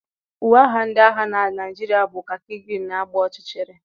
Uwe agha ndị agha na Naịjirịa bụ khaki green na agba ọchịchịrị.